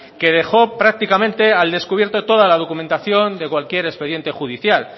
que dejó prácticamente al descubierto toda la documentación de cualquier expediente judicial